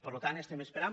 per tant estem espe·rant